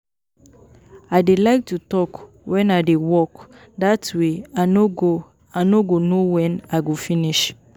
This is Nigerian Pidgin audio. I dey like to talk wen I dey work dat way I no go I no go know wen I go finish